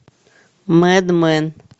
мэд мэн